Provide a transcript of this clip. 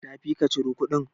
Tafi ka ciro kuɗin.